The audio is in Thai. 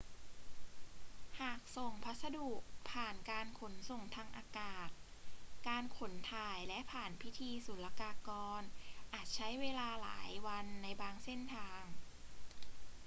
หากส่งพัสดุผ่านการขนส่งทางอากาศ การขนถ่ายและผ่านพิธีศุลกากรอาจใช้เวลาหลายวันในบางเส้นทาง